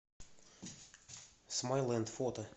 смайлэнд фото